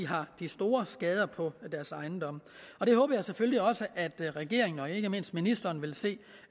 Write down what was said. har store skader på deres ejendomme det håber jeg selvfølgelig også at regeringen og ikke mindst ministeren vil se